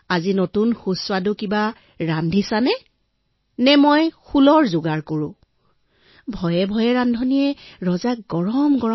তেওঁ কলে আজি সুস্বাদু খাদ্য ৰান্ধিছা নে মই শূল প্ৰস্তুত কৰো ভয়ে ভয়ে ৰান্ধনিয়ে থালি সজাই ৰজাক দিলে